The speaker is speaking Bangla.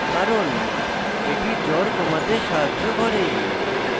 কারণ এটি জ্বর কম করতে সাহায্য করে